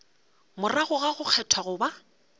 morago ga go kgethwa goba